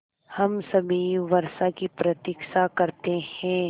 हम सभी वर्षा की प्रतीक्षा करते हैं